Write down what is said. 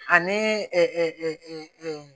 Ani